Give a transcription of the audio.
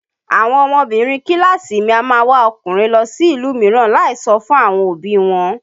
Àwọn ọmọbinrin kíláàsì mi a máa wá ọkùnrin lọ sí ìlú mìíràn láì sọ fún àwọn òbí i wọn